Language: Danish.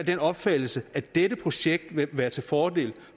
den opfattelse at dette projekt vil være til fordel